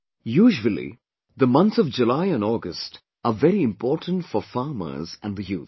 Usually, the months of July and August are very important for farmers and the youth